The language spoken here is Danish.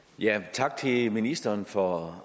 tak til ministeren for